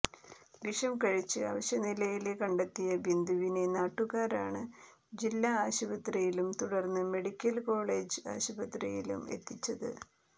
വിഷം കഴിച്ച് അവശനിലയില് കണ്ടെത്തിയ ബിന്ദുവിനെ നാട്ടുകാരാണ് ജില്ലാ ആശുപത്രിയിലും തുടര്ന്ന് മെഡിക്കല് കോളേജ് ആശുപത്രിയിലും എത്തിച്ചത്